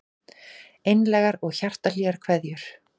Einlægar og hjartahlýjar kveðjur